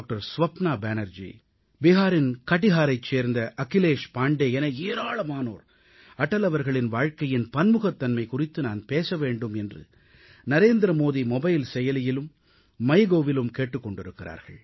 ஸ்வப்ன பேனர்ஜி பிஹாரின் கடிஹாரைச் சேர்ந்த அகிலேஷ் பாண்டே என ஏராளமானோர் அடல் அவர்களின் வாழ்க்கையின் பன்முகத்தன்மை குறித்து நான் பேச வேண்டும் என்று நரேந்திர மோடி நரேந்திர மோடி மொபைல் Appசெயலியிலும் MyGovஇலும் கேட்டுக் கொண்டிருக்கிறார்கள்